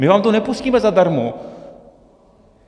My vám to nepustíme zadarmo.